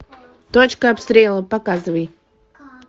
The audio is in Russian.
точка обстрела показывай